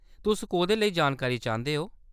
तुस कोह्‌‌‌दे लेई जानकारी चांह्‌‌‌दे ओ, ?